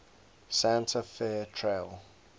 santa fe trail